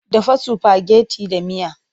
Dafa sifageti da miya!